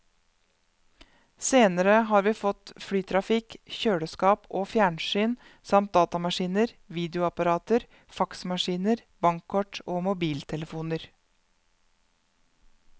Senere har vi fått flytrafikk, kjøleskap og fjernsyn samt datamaskiner, videoapparater, faksmaskiner, bankkort og mobiltelefoner.